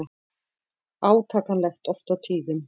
Átakanlegt oft á tíðum.